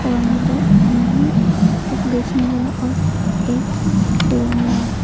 में दो आदमी है एक बेचने वाला और एक लेने वाला।